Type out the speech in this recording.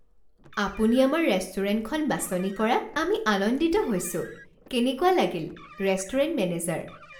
আপুনি আমাৰ ৰেষ্টুৰেণ্টখন বাছনি কৰাত আমি আনন্দিত হৈছো। কেনেকুৱা লাগিল? Restaurant manager